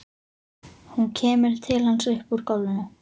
Hún kemur til hans upp úr gólfinu.